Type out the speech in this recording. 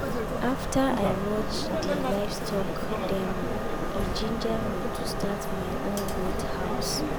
after i watch di livestock demo e ginger me to start my own goat house.